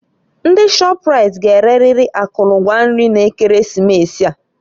Ndị Shọpraịt g'ereriri akụlụ ngwa nri na Ekeresimesi a.